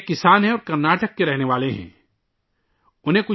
وہ ایک کسان ہیں اور کرناٹک سے تعلق رکھتے ہیں